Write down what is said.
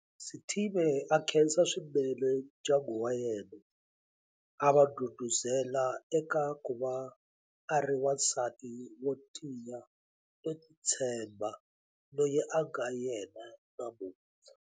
Sithibe a khensa swinene ndyangu wa yena, a va ndhundhuzela eka ku va a ri wansati wo tiya no titshemba loyi a nga yena namuntlha.